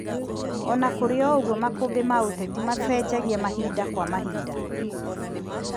Ona kũrĩ ũguo makũmbĩ ma ũteti macenjagia mahĩnda kwa mahinda